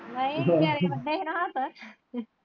ਨਹੀਂ ਨਿਆਣੇ ਕਹਿੰਦੇ ਨੇ ਹੱਸ।